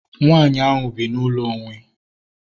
Nwaanyị ahu bi na ụlọ onwe